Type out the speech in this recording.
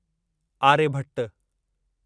Aryabhata